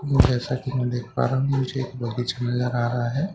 जैसा की मैं देख पा रहा हूँ मुझे पारम में एक बग़ीचा नजर आ रहा हैं।